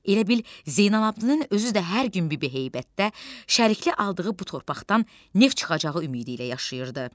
Elə bil Zeynallabdin özü də hər gün bibi heybətdə şəriklik aldığı bu torpaqdan neft çıxacağı ümidi ilə yaşayırdı.